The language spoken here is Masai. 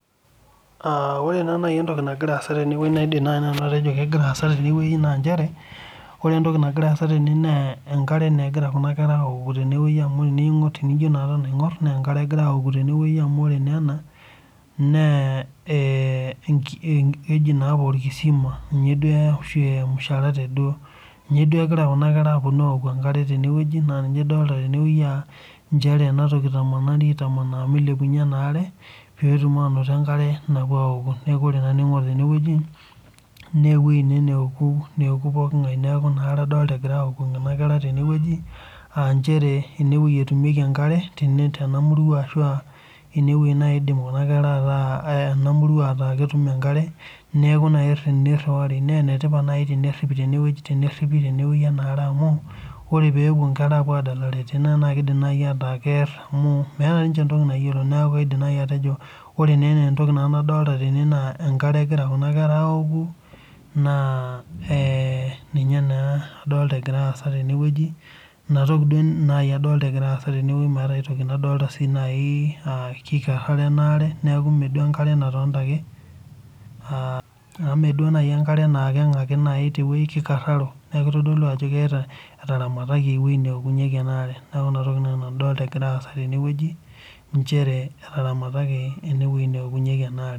Ore naa nai entoki nagira aasa tenewueji naidim atejo egira aasa tenewueji na nchere ore entoki nagira aasa tene na enkare egira kuna kera aoku tenewueji amu tenijo aton aingor na enkare egira aaoku tene amu ore na ena na orkisima amu ore ninye duo egira kuna kera aponu atooku enkare amu ninye itamanaa kuna kera neilepunye enkar petum enkare napuo aoku neaku ore na tenewueji newoi ene naoku pooki ngae neaku engare egirai aoku tenewueji aa nchere enewueji eokunyeki enkare tenamurua ashu enewueji nai idim ena murua ataa etumieki enkare neaku ninye iriwari na enetipat teneripi enaare amu ore pepuo nkera adalare tenewueji na kidim nai ataa kear amu meeta entoki nayiolo neaku ore entoki nadolita tene na enkare egira kuna kera aoku na ee ninye naa adolta egira aasa tenewueji meeta si enkai toki nadolita enaare neaku meenkare nanga ake neaku kikararo neaku elio ajo etaramataki enaare neaku inatoki adolita egira aasa tenewueji neaku nchere etaramataki enewueji naokunyeki enaare.